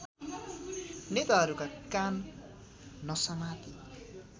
नेताहरूका कान नसमाती